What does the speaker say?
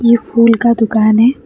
ये फूल का दुकान है।